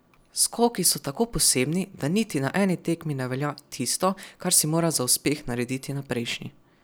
Skoki so tako posebni, da niti na eni tekmi ne velja tisto, kar si moral za uspeh narediti na prejšnji.